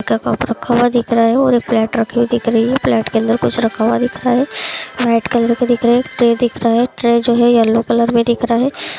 का कप रखा हुआ दिख रहा है और एक प्लेट रखी हुई दिख रही है प्लेट के अंदर कुछ रखा हुआ दिख रहा है वाइट कलर का दिख रहा है एक ट्रे दिख रहा है ट्रे जो है ट्रे येल्लो कलर में दिख रहा है।